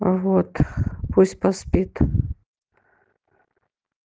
вот пусть поспит